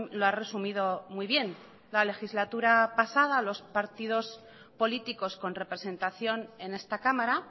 lo ha resumido muy bien la legislatura pasada los partidos políticos con representación en esta cámara